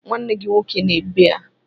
Nwanne gị nwoke nọ ebe a.